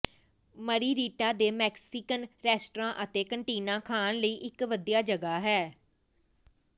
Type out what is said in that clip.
ਮਰੀਰੀਟਾ ਦੇ Mexican restaurant ਅਤੇ cantina ਖਾਣ ਲਈ ਇਕ ਵਧੀਆ ਜਗ੍ਹਾ ਹੈ